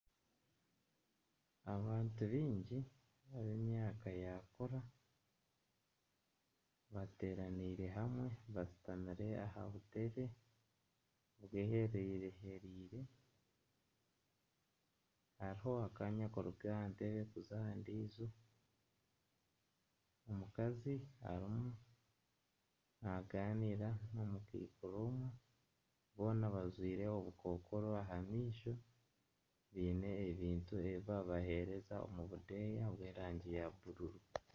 Abantu baingi ab'emyaka yaakura bateeraneire hamwe bashutamire aha butebe bwehereire. Hariho akaanya kuruga aha ntebe kuza aha ndiijo. Omukazi arimu nagaanira n'omukaikuru omwe, boona bajwaire obukokoro aha maisho baine ebintu ebi babaheereza omu budeeya bw'erangi ya bururu.